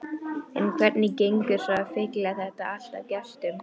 En hvernig gengur svo að fylla þetta allt af gestum?